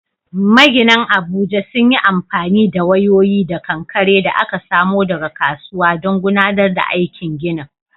Maginan Abuja sun yi amfani da wayoyi da kankare da aka samo daga kasuwa don gudanar da aikin ginin.